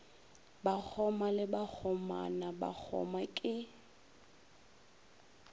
bakgoma le bakgomana bakgoma ke